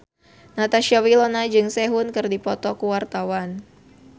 Natasha Wilona jeung Sehun keur dipoto ku wartawan